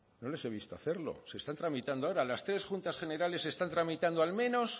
no les he visto hacerlo se están tramitando ahora las tres juntas generales están tramitando al menos